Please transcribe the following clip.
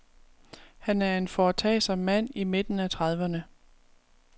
Han er en foretagsom mand i midten af trediverne.